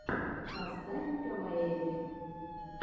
поставь кавайэлли